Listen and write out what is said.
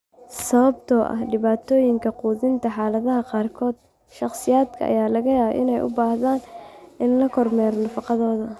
Sababtoo ah dhibaatooyinka quudinta xaaladaha qaarkood, shakhsiyaadka ayaa laga yaabaa inay u baahdaan in la kormeero nafaqadooda.